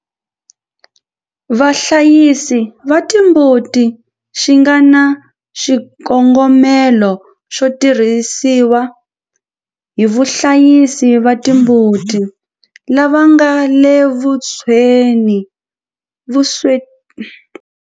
Vahlayisi va timbuti xi nga na xikongomelo xo tirhisiwa hi vahlayisi va timbuti lava nga le vuswetini hi switirhisiwa lava tshamaka edzonga vupeladyambu bya Xifundzha xa KwaZulu-Natal eAfrika-Dzonga, xi ta tlhela xi tirhisiwa eka tindhawu ta mbango leti fanaka ta vurimi edzongeni wa Afrika.